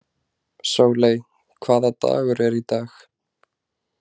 Sóley, hvaða dagur er í dag?